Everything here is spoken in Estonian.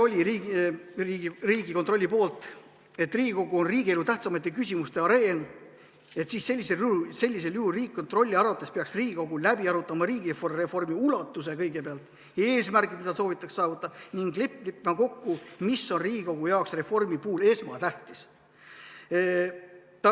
Riigikontrollil oli väide, et Riigikogu on riigielu tähtsamate küsimuste areen, Riigikontrolli arvates peaks Riigikogu läbi arutama kõigepealt riigireformi ulatuse ja eesmärgid, mida soovitakse saavutada, ning leppima kokku, mis on Riigikogu jaoks reformi puhul esmatähtis.